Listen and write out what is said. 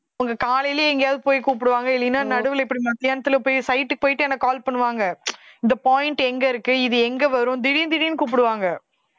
உங்க காலையிலேயே எங்கேயாவது போய் கூப்பிடுவாங்க இல்லைன்னா நடுவுல இப்படி மத்தியானத்துல போய் site க்கு போயிட்டு எனக்கு call பண்ணுவாங்க இந்த point எங்க இருக்கு இது எங்க வரும் திடீர்னு திடீர்னு கூப்பிடுவாங்க